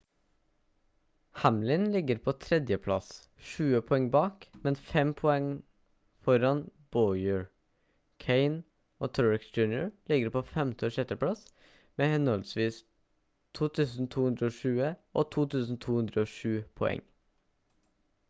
hamlin ligger på 3. plass 20 poeng bak men 5 poeng foran bowyer kahne og truex jr ligger på 5. og 6. plass med henholdsvis 2220 og 2207 poeng